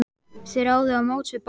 Þeir áðu á móts við Bólu.